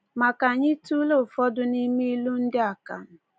Ma ka anyị tụlee ụfọdụ n’ime ilu ndị Akan.